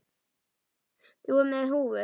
Þú með húfu.